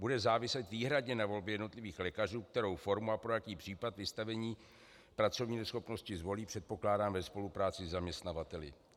Bude záviset výhradně na volbě jednotlivých lékařů, kterou formu a pro jaký případ vystavení pracovní neschopnosti zvolí, předpokládám ve spolupráci se zaměstnavateli.